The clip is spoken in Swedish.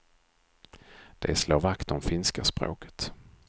De slår vakt om finska språket.